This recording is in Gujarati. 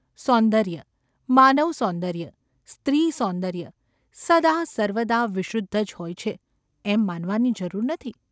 સૌંદર્ય, માનવસૌંદર્ય, સ્ત્રીસૌંદર્ય સદા સર્વદા વિશુદ્ધ જ હોય છે એમ માનવાની જરૂર નથી.